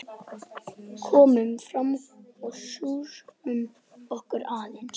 Komum fram og sjússum okkur aðeins.